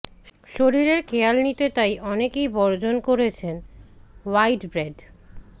শরীরের খেয়াল নিতে তাই অনেকেই বর্জন করছেন হোয়াইট ব্রেড